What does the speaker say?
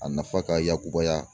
A nafa ka yakubaya